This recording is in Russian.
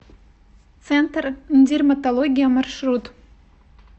центр дерматология маршрут